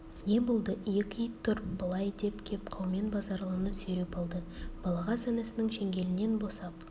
не болды екі ит тұр былай деп кеп қаумен базаралыны сүйреп алды балағаз інісінің шеңгелінен босап